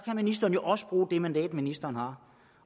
ministeren jo også bruge det mandat ministeren har